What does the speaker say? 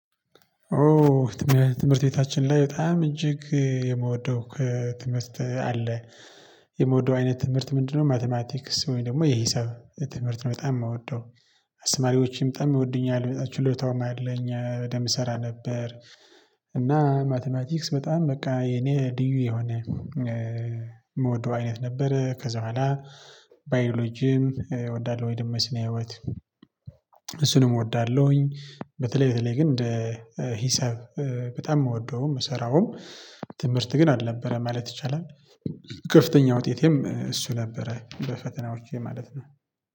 ኦ ትምህርት ቤታችን ላይ በጣም እጅግ የምወደው ከትምህርት አለ የምወደው አይነት ትምህርት ምንድነው? ማቲማቲክስ ወይም ደግሞ የሂሳብ ትምህርት ነው በጣም የምወደው። አስተማሪዎችም በጣም ይወዱኛል ችሎታውም አለኝ በደንብ እሰራ ነበር። እና ማቲማቲክስ በጣም በቃ የኔ ልዩ የሆነ የምወደው አይነት ነበር። ከዛ በኋላ ባዮሎጂም እወዳለሁ ወይ ደሞ ስነ ህይወት እሱንም እወዳለሁኝ። በተለይ በተለይ ግን እንደ ሂሳብ በጣም የምወደውም ምስራውም ትምህርት ግን አልነበረም ማለት ይቻላል። ክፍተኛ ውጤቴም እሱ ነበረ በፈተናዎቼ ማለት ነው።